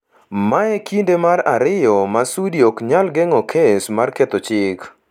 Mae e kinde mar ariyo ma Sudi ok nyal geng’o kes mar ketho chik.